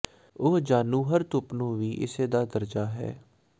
ਉਹ ਜਾਣੂ ਹਰ ਧੁੱਪ ਨੂੰ ਵੀ ਇਸੇ ਦਾ ਦਰਜਾ ਹੈ